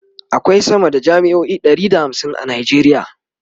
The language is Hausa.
akwai sama da jami'o'i Ɗari da hamsin a nigeria